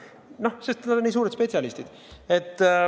Noh, sest nad on nii suured spetsialistid.